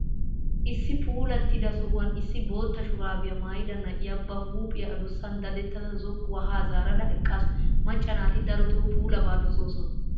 Issi puulattida sohuwan issi bootta shuraabiya maayida na'iya ba huuphiya adussan dadettada zokkuwa haa zaarada eqqaasu. Macca naati darotoo puulabaa dosoosona.